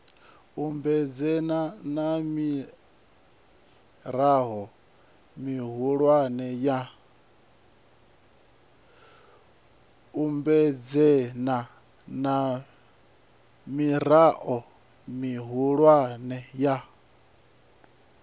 ambedzana na mirao mihulwane ya